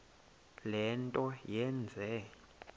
le nto yenze